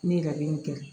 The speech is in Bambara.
Ne ye laɲini kɛ